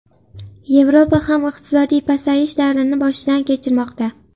Yevropa ham iqtisodiy pasayish davrini boshidan kechirmoqda.